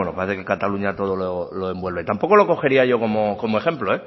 bueno parece que cataluña todo lo envuelve tampoco lo cogería yo como ejemplo